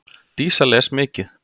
Dísa les mikið.